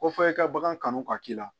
Ko fɔ i ka bagan kanu ka k'i la